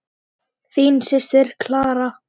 Þín systir, Clara.